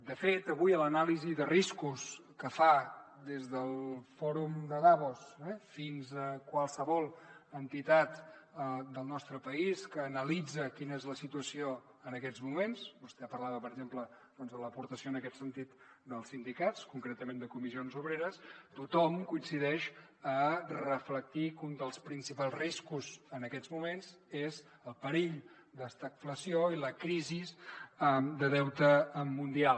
de fet avui a l’anàlisi de riscos que fan des del fòrum de davos fins a qualsevol entitat del nostre país que analitza quina és la situació en aquests moments vostè parlava per exemple de l’aportació en aquest sentit dels sindicats concretament de comissions obreres tothom coincideix a reflectir que un dels principals riscos en aquests moments és el perill d’estagflació i la crisi de deute mundial